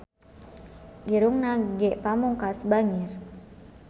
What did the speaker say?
Irungna Ge Pamungkas bangir